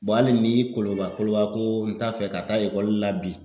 hali ni koloba koloba ko n t'a fɛ ka taa ekɔli la bi